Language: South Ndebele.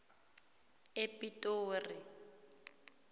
epitori